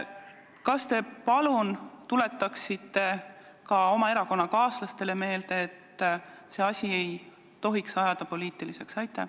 Kas te palun tuletaksite ka oma erakonnakaaslastele meelde, et seda asja ei tohi ajada poliitiliseks?